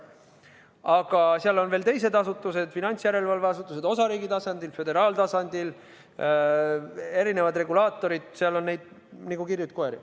Aga seal on veel teised asutused: finantsjärelevalve asutused osariigi tasandil, föderaaltasandil, erinevad regulaatorid, seal on neid nagu kirjuid koeri.